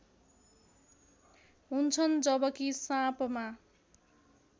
हुन्छन् जबकि साँपमा